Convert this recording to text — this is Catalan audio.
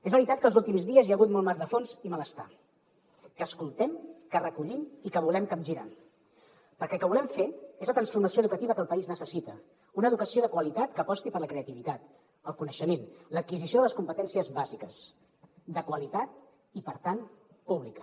és veritat que els últims dies hi ha hagut molt mar de fons i malestar que escoltem que recollim i que volem capgirar perquè el que volem fer és la transformació educativa que el país necessita una educació de qualitat que aposti per la creativitat el coneixement l’adquisició de les competències bàsiques de qualitat i per tant pública